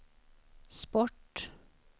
sport